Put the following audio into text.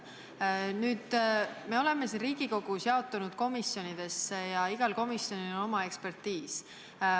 Nüüd, me oleme siin Riigikogus jaotunud komisjonidesse ja igal komisjonil on oma pädevusvaldkond.